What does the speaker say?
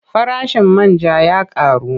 Farashin man ja ya ƙaru.